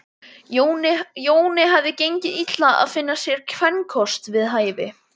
Jóni hafði gengið illa að finna sér kvenkost við hæfi.